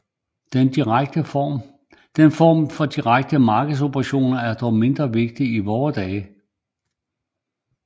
Den form for direkte markedsoperationer er dog mindre vigtige i vore dage